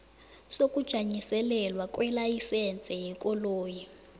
sokujanyiselelwa kwelayisense yekoloyi